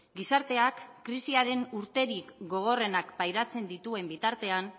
gizarteak krisiaren urterik gogorrenak pairatzen dituen bitartean